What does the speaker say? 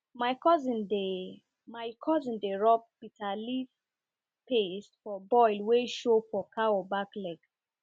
my cousin dey my cousin dey rub bitter leaf paste for boil wey show for cow back leg